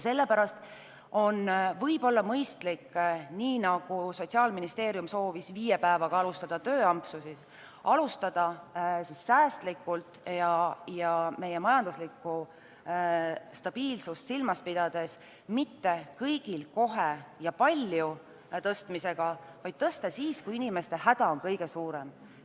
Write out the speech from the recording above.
Sellepärast on võib-olla mõistlik, nii nagu Sotsiaalministeerium soovis viie päevaga alustada tööampsusid, alustada säästlikult ja meie majanduslikku stabiilsust silmas pidades mitte kõigil kohe ja palju tõstmisega, vaid tõsta siis, kui inimeste häda on kõige suurem.